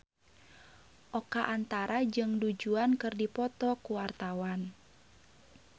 Oka Antara jeung Du Juan keur dipoto ku wartawan